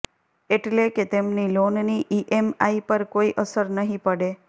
એટલે કે તેમની લોનની ઇએમઆઇ પર કોઇ અસર નહિ પડે